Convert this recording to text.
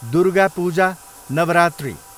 Durga Puja, Navratri